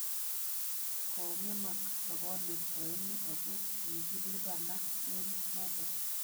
" Kong'emak sabanwek aeng'u ago kigilibana eng' noto